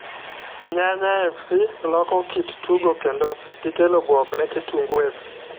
Nyanya fc loko kit tugo kendo gikelo buok ne kitungu fc.